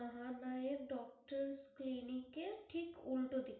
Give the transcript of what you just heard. Mahanayak doctor clinic এর ঠিক উল্টোদিকে